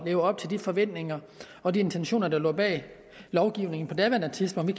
leve op til de forventninger og de intentioner der lå bag lovgivningen på daværende tidspunkt vi